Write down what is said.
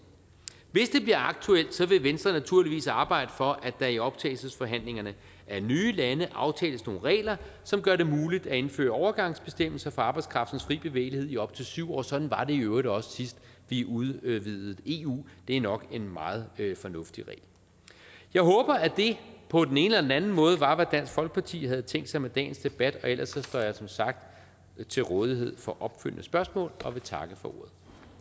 hvis det bliver aktuelt vil venstre naturligvis arbejde for at der i optagelsesforhandlingerne af nye lande aftales nogle regler som gør det muligt at indføre overgangsbestemmelser for arbejdskraftens fri bevægelighed i op til syv år sådan var det i øvrigt også sidst vi udvidede eu det er nok en meget fornuftig regel jeg håber at det på den ene eller anden måde var hvad dansk folkeparti havde tænkt sig med dagens debat ellers står jeg som sagt til rådighed for opfølgende spørgsmål og jeg vil takke for